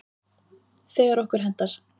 Þegar okkur hentar.